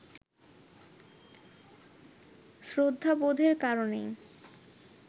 শ্রদ্ধাবোধের কারণেই